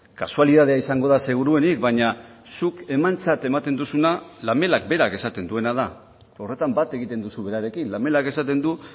kasualitatea izango da seguruenik baina zuk emantzat ematen duzuna lamelak berak esaten duena da horretan bat egiten duzu berarekin lamelak esaten du